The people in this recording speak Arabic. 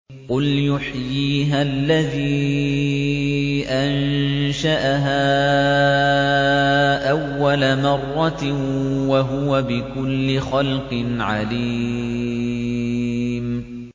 قُلْ يُحْيِيهَا الَّذِي أَنشَأَهَا أَوَّلَ مَرَّةٍ ۖ وَهُوَ بِكُلِّ خَلْقٍ عَلِيمٌ